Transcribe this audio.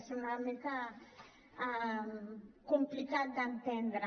és una mica complicat d’entendre